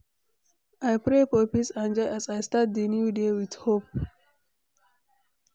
I pray for peace and joy as I start di new day with hope.